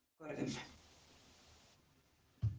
Klettagörðum